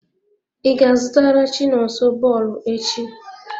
I ga-azụtara chinonso bọọlụ echi?